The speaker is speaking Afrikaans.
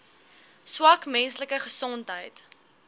swak menslike gesondheid